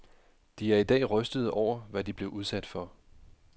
De er i dag rystede over, hvad de blev udsat for.